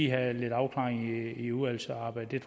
have en afklaring i udvalgsarbejdet